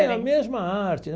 É a mesma arte.